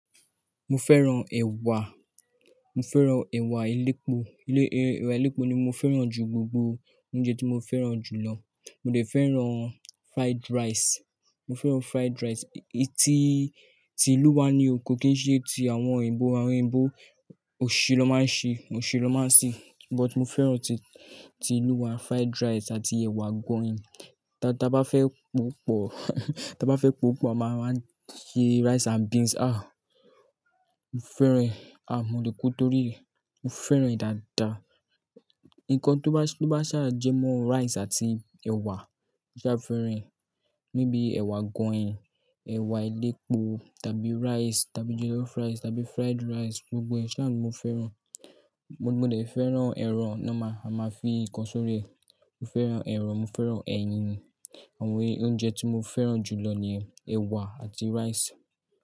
Mo fẹ́ràn ẹ̀wà, mo fẹ́ràn ẹ̀wà elépo, elé-ẹ́wà elépo ni mo fẹ́ràn ju gbogbo oúnjẹ tí mo fẹ́ràn jù lọ. Mo dẹ̀ fẹ́ràn fried rice, mo fẹ́ràn fried rice, etí ti ìlú wa ni o, kó kí n ṣe ti àwọn òyìnbó, àwọn òyìnbó òṣì na máa ń ṣe, òṣì na máa ń ṣe. But mo fẹ́ràn ti, ti ìlú wa fried rice àti ẹ̀wà agoyin. Ti a bá fẹ́ pò pọ̀, ti a bá fẹ́ pò pọ̀ a máa máa ṣe rice and beans. Àh! Mo fẹ́ràn e, ah, mo lẹ̀ kú torí rẹ̀, mo fẹ́ràn e dáadáa. Ǹkan tó bá, tó bá ṣà jẹmọ́ rice àti ẹ̀wà, mo ṣa fẹ́ràn e. Ni bíi ẹ̀wà agoyin, ẹ̀wà elépo, tàbí rice, tàbí jollof rice, tàbí fried rice, gbogbo ẹ́ ṣa ni mo fẹ́ràn. Mo dẹ̀ fẹ́ràn ẹ̀ran normal, ma a máa fi ǹkan sórí ẹ̀, mo fẹ́ràn ẹ̀ran, mo fẹ́ràn ẹyin. Àwọn e oúnjẹ tí mo fẹ́ràn jù lọ niyen: ẹ̀wà àti rice.